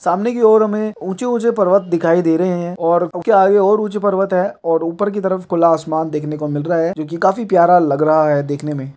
सामने की ओर हमें कुछ ऊंचे-ऊंचे पर्वत दिखाई दे रहे हैं और उनके आगे और ऊंचे पर्वत है और ऊपर की तरफ खुला आसमान देखने को मिल रहा है जो की काफी प्यारा लग रहा है देखने में।